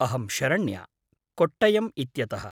अहं शरण्या, कोट्टयम् इत्यतः।